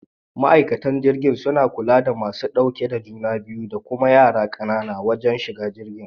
Ma'aikatan jirgi suna kula da masu dauke da juna biyu da kuma yara kanana wajen shiga jirgi.